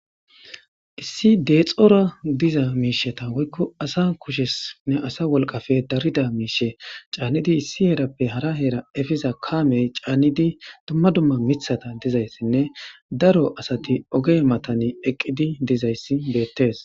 issi deexxora diza miisheta woykko asa kushesnne asa wolqafe darida miishe caannidi issi heerappe hara heera efiza kaamey caannidi dumma dumma mithata dizayssinne daro asati oge matani eqqidi dizayssi beettes